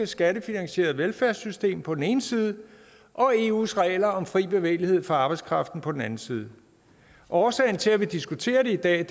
skattefinansierede velfærdssystem på den ene side og eus regler om fri bevægelighed for arbejdskraften på den anden side årsagen til at vi diskuterer det i dag